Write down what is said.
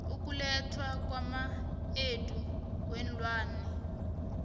ukulethwa kwamaendo weenlwana